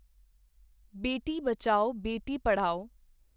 ਬੇਟੀ ਬਚਾਓ ਬੇਟੀ ਪੜਾਓ